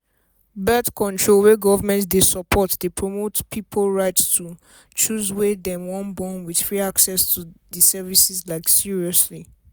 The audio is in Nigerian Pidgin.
birth-control wey government dey support dey promote pipo right to choose wen dem wan bornwith free access to the service like seriously